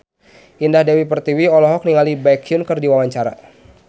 Indah Dewi Pertiwi olohok ningali Baekhyun keur diwawancara